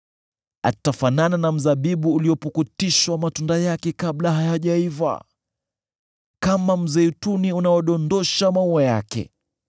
Atafanana na mzabibu uliopukutishwa matunda yake kabla hayajaiva, kama mzeituni unaodondosha maua yake.